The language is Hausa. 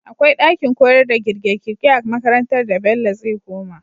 Akwai dakin koyarda girke girke a makarantar da bello zai koma